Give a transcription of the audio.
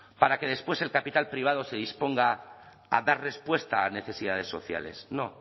para que después el capital privado se disponga a dar respuesta a necesidades sociales no